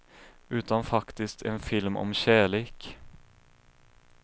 Utan faktiskt en film om kärlek.